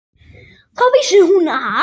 Þá vissi hún að